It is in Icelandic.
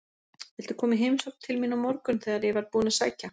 Viltu koma í heimsókn til mín á morgun þegar ég verð búinn að sækja